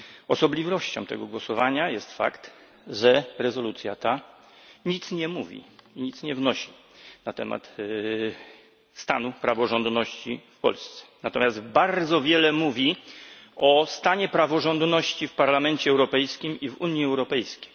Osobliwością tego głosowania jest fakt, że rezolucja ta nic nie wnosi na temat stanu praworządności w Polsce, natomiast bardzo wiele mówi o stanie praworządności w Parlamencie Europejskim i w Unii Europejskiej.